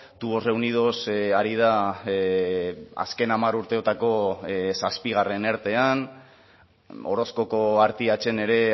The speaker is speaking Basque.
tubos reunidos ari da azken hamar urteotako zazpigarren ertean orozkoko artiachen ere